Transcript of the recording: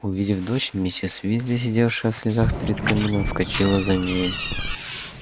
увидев дочь миссис уизли сидевшая в слезах перед камином вскочила за ней